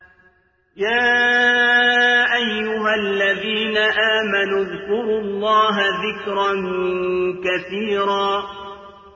يَا أَيُّهَا الَّذِينَ آمَنُوا اذْكُرُوا اللَّهَ ذِكْرًا كَثِيرًا